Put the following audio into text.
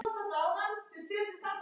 Mér fannst það líka.